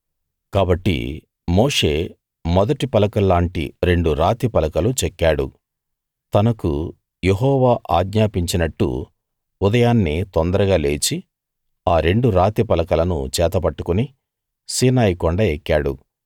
కాబట్టి మోషే మొదటి పలకల్లాంటి రెండు రాతి పలకలు చెక్కాడు తనకు యెహోవా ఆజ్ఞాపించినట్టు ఉదయాన్నే తొందరగా లేచి ఆ రెండు రాతి పలకలను చేత పట్టుకుని సీనాయి కొండ ఎక్కాడు